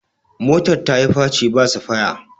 motar ta yi faci ba safaya